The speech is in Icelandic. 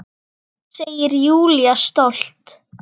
Segir Júlía stolt.